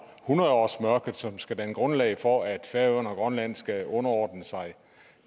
hundrede årsmørket som skal danne grundlag for at færøerne og grønland skal underordne sig